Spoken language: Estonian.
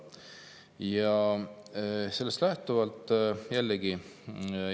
Ja sellest lähtuvalt ma jätkangi.